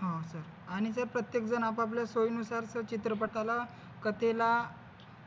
हा सर आणि ते प्रत्येक जण आपापल्या सोयीनुसार तर चित्रपटाला कथेला